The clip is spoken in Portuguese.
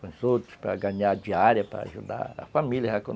com os outros, para ganhar diária, para ajudar a família, já que